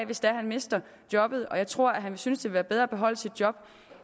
hvis han mister jobbet og jeg tror han vil synes det er bedre at beholde sit job